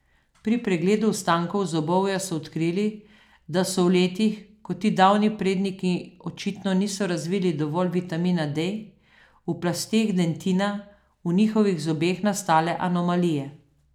Pri pregledu ostankov zobovja so odkrili, da so v letih, ko ti davni predniki očitno niso razvili dovolj vitamina D, v plasteh dentina v njihovih zobeh nastale anomalije.